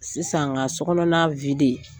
Sisan ka sokɔnɔna